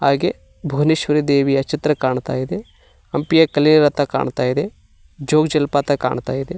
ಹಾಗೆ ಭುವನೇಶ್ವರಿ ದೇವಿಯ ಚಿತ್ರ ಕಾಣ್ತಾ ಇದೆ ಹಂಪಿಯ ಕಲೆಯ ರಥ ಕಾಣ್ತಾ ಇದೆ ಜೋಗ್ ಜಲಪಾತ ಕಾಣ್ತಾ ಇದೆ.